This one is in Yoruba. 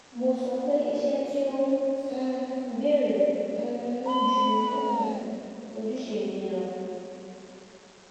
mo sọ pé iṣẹ́ tí ó um béèrè um ju ojúṣe mi lọ